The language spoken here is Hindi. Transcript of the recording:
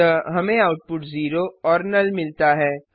अतः हमें आउटपुट 0 और नुल मिलता है